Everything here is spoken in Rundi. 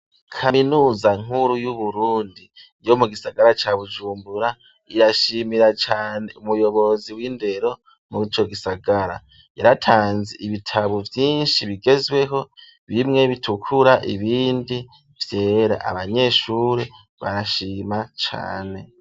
Kaminuza nkuru yu Burundi yo mu gisagara ca Bujumbura irashimira cane umuyobozi w'indero mu ico gisagara yaratanze ibitabo vyinshi bigezweho bimwe bitukura ibindi vyera abanyeshuri barashima cane.